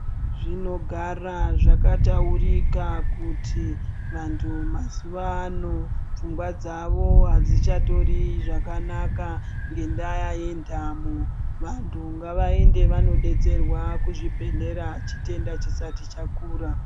Zvinogara zvakataurika kuti vantu mazuvano pfungwa dzavo adzichatori zvakanaka ngendaya yendamo vantu ngavaende vanodetserwa kuzvibhedhlera chitenda chisati chakura.